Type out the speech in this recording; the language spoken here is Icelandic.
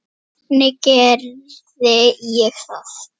Hvernig gerði ég það?